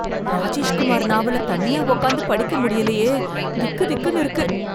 ராஜேஷ் குமார் நாவல தனியா உக்காந்து படிக்க முடியலயே, திக்திக்ன்னு இருக்கு.